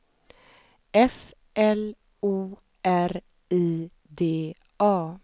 F L O R I D A